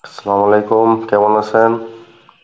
আসসালাম অলাইকুম কেমন আছেন?